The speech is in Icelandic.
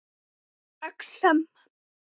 Sýkt exem